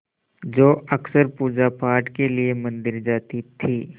जो अक्सर पूजापाठ के लिए मंदिर जाती थीं